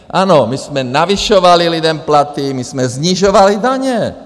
Ano, my jsme navyšovali lidem platy, my jsme snižovali daně.